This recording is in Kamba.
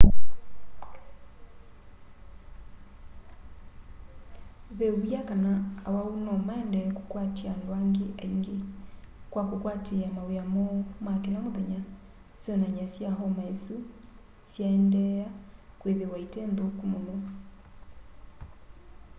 ve wia kana awau nomaendee kũkwatya andũ angĩ aingĩ kwa kũkwatĩĩa mawĩa moo ma kĩla mũthenya syonany'a sya homa ĩsu syaendeea kwĩthĩwa ite nthũku mũno